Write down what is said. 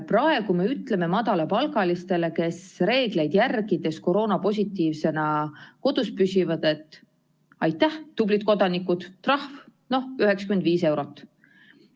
Praegu me ütleme madalapalgalistele, kes reegleid järgides koroonapositiivsena kodus püsivad, et aitäh, tublid kodanikud, trahv 95 eurot.